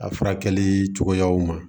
A furakɛli cogoyaw ma